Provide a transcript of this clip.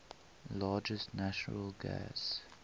largest natural gas